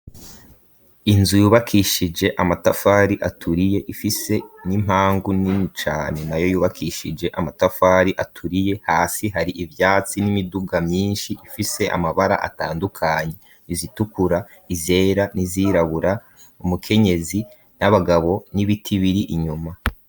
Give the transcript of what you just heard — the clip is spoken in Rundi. inzu yubakishije amatafari aturiye ifise n'impangu nini cane nayo yubakishije amatafari aturiye, hasi hari ivyatsi n'imiduga myinshi ifise amabara atandukanye izitukura, izera n'izirabura ,umukenyezi n'abagabo, n'ibiti biri inyuma.